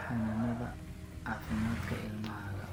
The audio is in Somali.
xanaanada caafimaadka ilmahaaga.